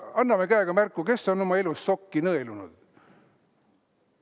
Anname käega märku, kes on oma elus sokki nõelunud!